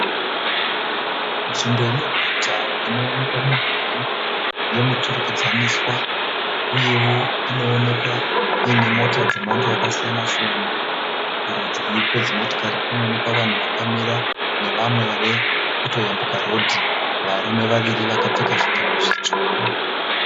Nzvimbo yemuguta inoonekwa midhuri yemuturikidzwaniswa. Uyewo inoonekwa iine mota dzemhando yakasiyana-siyana. Kurudyi kwedzimotikari kunoonekwa vanhu vakamira nevamwe vave kutoyambuka rodhi varume vaviri vakapfeka zvipfeko zvitsvuku.